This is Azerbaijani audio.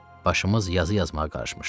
Başımız yazı yazmağa qarışmışdı.